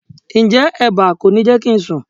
Ǹjẹ́ eba kò ní jẹ́ kí n sùn?